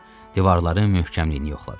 Divarın möhkəmliyini yoxladı.